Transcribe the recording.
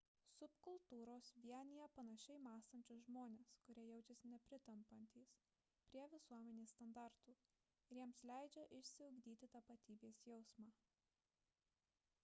subkultūros suvienija panašiai mąstančius žmones kurie jaučiasi nepritampantys prie visuomenės standartų ir jiems leidžia išsiugdyti tapatybės jausmą